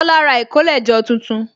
Tola ra ìkólẹ̀jọ tuntun